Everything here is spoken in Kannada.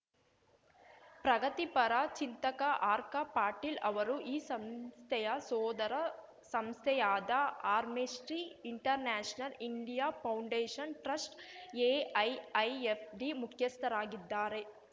ಪ್ರಗತಿಪರ ಚಿಂತಕ ಆರ್ಕಾ ಪಟೇಲ್‌ ಅವರು ಈ ಸಂಸ್ಥೆಯ ಸೋದರ ಸಂಸ್ಥೆಯಾದ Amnesty International India Foundation Trust AIIFT ಮುಖ್ಯಸ್ಥರಾಗಿದ್ದಾರೆ